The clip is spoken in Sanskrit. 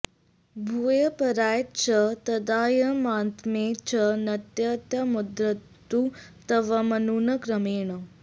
भूयः पराय च तदाह्वयमात्मने च नत्यन्त्यमुद्धरतु तत्त्वमनून् क्रमेण